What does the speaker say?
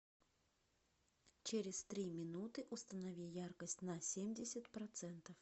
через три минуты установи яркость на семьдесят процентов